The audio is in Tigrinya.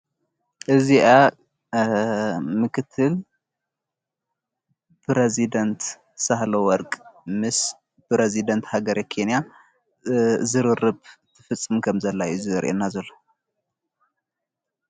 እዚኣ ምክትል ፕረዝደንት ሳህሎ ወርቅ ምስ ፕረዝደንት ሃገር ኬንያ ዝርርብ ትፍጽም ከም ዘላ አዩ ዘርኤና ዘሎ::